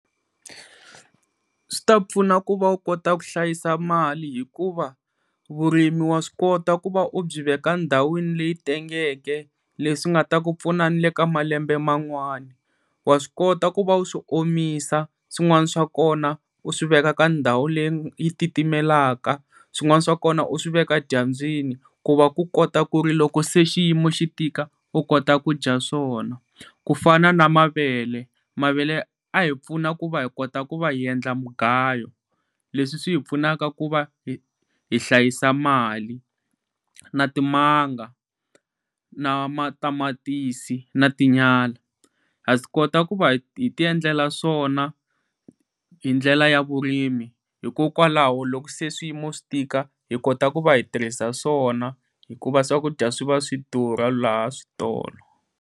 Swi ta ku pfuna ku va u kota ku hlayisa mali hikuva vurimi wa swi kota ku va u byi veka ndhawini leyi tengeke leswi nga ta ku pfuna ni le ka malembe man'wani. Wa swi kota ku va u swi omisa swin'wana swa kona u swiveka ka ndhawu leyi titimelaka, swin'wana swa kona u swi veka dyambyini ku va ku kota ku ri loko se xiyimo xi tika u kota kudya swona. Ku fana na mavele, mavele a hi pfuna ku va hi kota ku va hi endla mugayo leswi swi hi pfunaka ku va hi hlayisa mali, na timanga, na matamatisi na tinyala ha swi kota ku va hi ti endlela swona hi ndlela ya vurimi hikokwalaho loko se swiyimo swi tika hikota ku va hi tirhisa swona hikuva swakudya swi va swidura laha switolo.